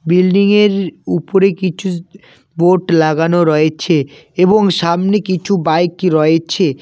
বিল্ডিংয়ের উপরে কিছু বোট লাগানো রয়েছে এবং সামনে কিছু বাইক রয়েছে